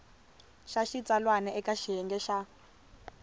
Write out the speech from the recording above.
xa xitsalwana eka xiyenge xa